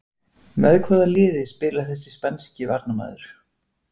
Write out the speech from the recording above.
Með hvaða liði spilar þessi spænski varnarmaður?